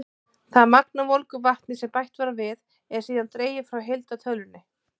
Það magn af volgu vatni sem bætt var við, er síðan dregið frá heildartölunni.